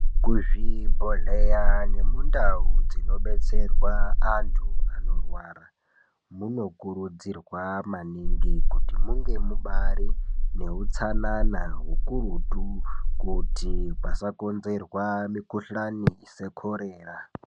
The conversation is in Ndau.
Kuzvibhedhlera nemundau dzinobetserwa antu anorwara, muno kurudzirwa maningi munge mubaari neutsanana hukurutu kuti pasa konzerwa mikhuhlani sekorera.